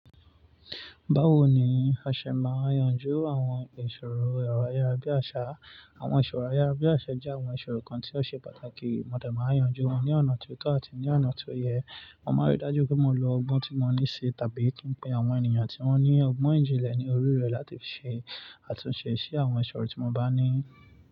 Báwo ni a ṣe máa yanjú àwọn ìṣòro ọ̀rọ̀ ayárabíàṣá? Àwọn ìṣòro ayárabíàṣá jẹ́ àwọn ìṣòro kan tí ó ṣe pàtàkì. Mọ̀dẹ̀ máa yanjú wọn ní ọ̀nà tó tọ́ àti ní ọ̀nà tó yẹ. Mo máa rí dájú pé mo lo ọgbọ́n tí mo ní ṣe tàbí kí n pe àwọn ènìyàn tí wọ́n ní ọgbọ́n ìjìnlẹ̀ ní orí rẹ̀ láti ṣe àtúnṣe sí àwọn ìṣòro tí mo bá ní.